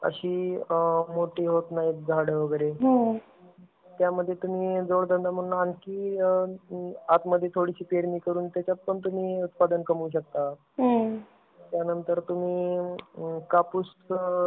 अशी मोठी होत नाहीत झाड वगैरे, त्यामध्ये तुम्ही जोड धंदा म्हणून आणखी आतमध्ये थोडीशी पेरणी करून त्याच्यामध्ये पण तुम्ही उत्पादन कमवू शकता. त्यानंतर तुम्ही कापूसचं